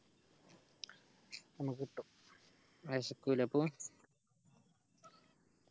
നമ്മക്കിട്ടും വെശക്കൂലെ അപ്പൊ